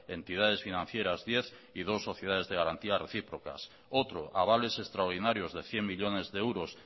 entidades financieras diez y dos sociedades de garantía recíprocas otro avales extraordinarios de cien millónes de euros